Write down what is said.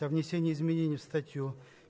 то внесение изменений в статью